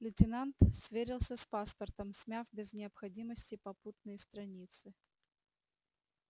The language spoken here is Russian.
лейтенант сверился с паспортом смяв без необходимости попутные страницы